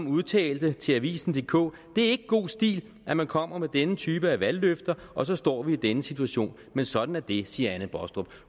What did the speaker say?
udtalte til avisendk det er ikke god stil at man kommer med denne type af valgløfter og så står vi i denne situation men sådan er det siger anne baastrup